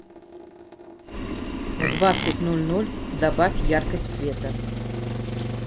в двадцать ноль ноль добавь яркость света